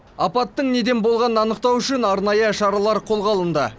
апаттың неден болғанын анықтау үшін арнайы шаралар қолға алынды